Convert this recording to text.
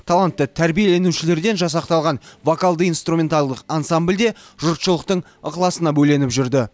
талантты тәрбиеленушілерден жасақталған вокалды инструменталдық ансамбль де жұртшылықтың ықыласына бөленіп жүрді